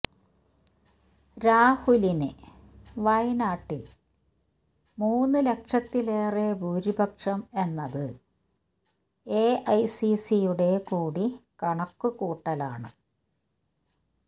രാഹുലിന് വയനാട്ടില് മൂന്ന് ലക്ഷത്തിലേറെ ഭൂരിപക്ഷം എന്നത് എഐസിസിയുടെ കൂടി കണക്ക് കൂട്ടലാണ്